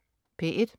P1: